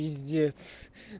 пиздец